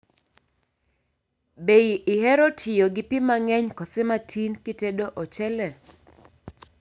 Be ihero tiyo gi pii mang'eny koso matin kitedo ochele?